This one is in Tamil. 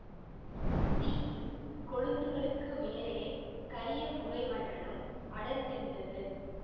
தீயின் கொழுந்துகளுக்கு மேலே கரிய புகை மண்டலம் அடர்ந்திருந்தது